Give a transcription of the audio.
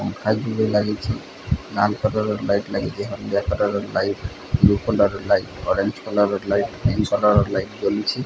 ପଙ୍ଖା ଦିଟା ଲାଗିଛି। ଲାଲ୍ କଲର୍ ର ଲାଇଟ୍ ଲାଗିଚି। ହଲଦିଆ colour light blue colour light orange colour light pink colour ର ଲାଇଟ୍ ଲାଗିଛି।